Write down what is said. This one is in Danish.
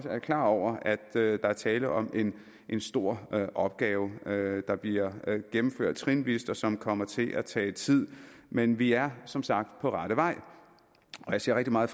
er klar over at der er tale om en stor opgave der bliver gennemført trinvis og som kommer til at tage tid men vi er som sagt på rette vej jeg ser rigtig meget